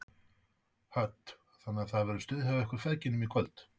Hödd: Þannig að það verður stuð hjá ykkur feðgunum í kvöld?